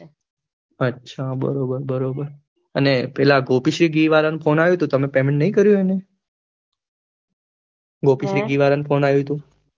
અચ્છા બરાબર બરાબર અને પેલા ગોપીસિંહ ગી વારા નો ફોન આયુ તુ તમે payment નઈ કર્યું એનુ ગોપીસિંહ ગી વારા નો ફોન આયુ તું